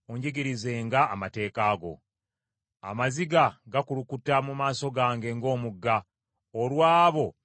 Amaziga gakulukuta mu maaso gange ng’omugga, olw’abo abatakwata mateeka go.